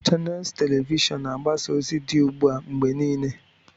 Chanels telivishọn na-agbasa ozi dị ugbu a mgbe niile.